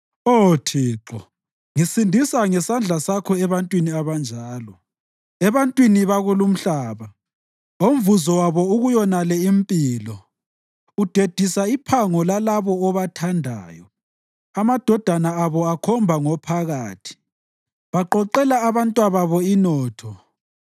Oh Thixo, ngisindisa ngesandla sakho ebantwini abanjalo, ebantwini bakulumhlaba omvuzo wabo ukuyonale impilo. Udedisa iphango lalabo obathandayo; amadodana abo akhomba ngophakathi; baqoqela abantwababo inotho.